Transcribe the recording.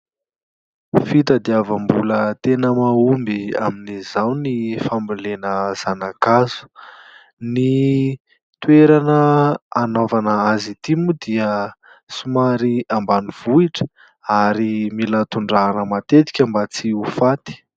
Fitadiavam-bola tena mahomby amin'izao ny fambolena zanakazo ; ny toerana anaovana azy ity moa dia somary ambanivohitra ary mila tondrahana matetika mba tsy ho faty.